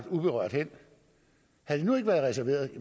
uberørt hen havde de nu ikke været reserveret